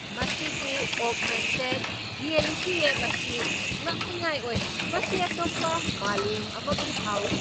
ꯃꯁꯤꯒꯤ augmented reality app ꯑꯁꯤ ꯉꯛꯅꯤꯡꯉꯥꯏ ꯑꯣꯏ꯫ ꯃꯁꯤ ꯑꯇꯣꯞꯄ ꯃꯥꯂꯦꯝ ꯑꯃꯒꯨꯝ ꯐꯥꯎꯏ꯫